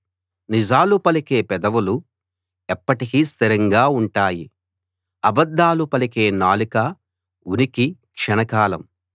నిజాలు పలికే పెదవులు ఎప్పటికీ స్థిరంగా ఉంటాయి అబద్ధాలు పలికే నాలుక ఉనికి క్షణకాలం